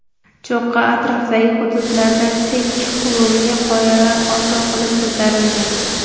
Cho‘qqi atrofdagi hududlardan tik qurumli qoyalar hosil qilib ko‘tarilgan.